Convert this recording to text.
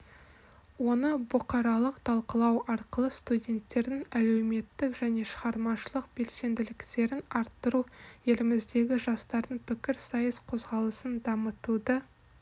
оны бұқаралық талқылау арқылы студенттердің әлеуметтік және шығармашылық белсенділіктерін арттыру еліміздегі жастардың пікірсайыс қозғалысын дамытуды